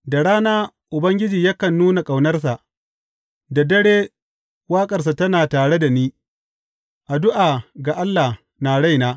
Da rana Ubangiji yakan nuna ƙaunarsa, da dare waƙarsa tana tare da ni, addu’a ga Allah na raina.